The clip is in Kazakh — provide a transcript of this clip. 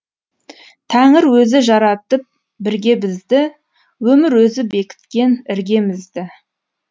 тәңір өзі жаратып бірге бізді өмір өзі бекіткен іргемізді